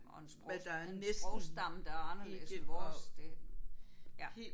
Og en sprog og en sprogstamme der er anderledes end vores det ja